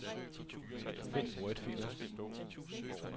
Find wordfiler.